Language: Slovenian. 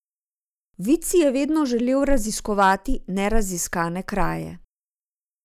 Vid si je vedno želel raziskovati neraziskane kraje.